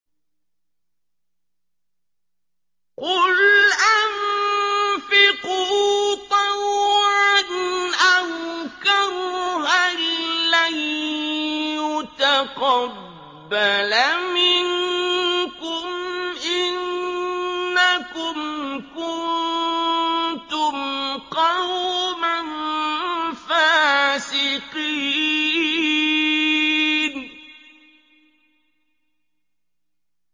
قُلْ أَنفِقُوا طَوْعًا أَوْ كَرْهًا لَّن يُتَقَبَّلَ مِنكُمْ ۖ إِنَّكُمْ كُنتُمْ قَوْمًا فَاسِقِينَ